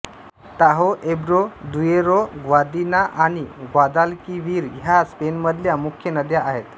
ताहो Ebro Duero Guadiana आणि Guadalquivir ह्या स्पेनमधल्या मुख्य नद्या आहेत